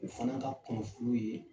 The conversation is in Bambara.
U fana ka kunafoni ye